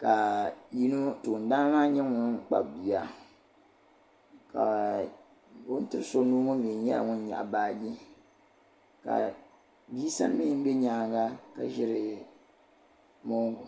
ka yino toondana maa nyɛ ŋun kpabi bia ka o ni ti so nuu ŋɔ nyɛ nyaaŋa ŋɔ nyaɣi baagi ka bii sa mii bɛ nyaaŋa ka ʒiri moongu